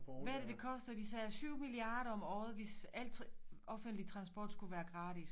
Hvad er det det koster de sagde 7 milliarder om året hvis alt offentlig transport skulle være gratis